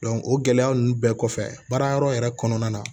o gɛlɛya ninnu bɛɛ kɔfɛ baara yɔrɔ yɛrɛ kɔnɔna na